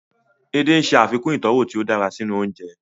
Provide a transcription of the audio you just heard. Edé ń ṣe àfikún ìtọ́wọ̀ tí ó dára sínú oúnjẹ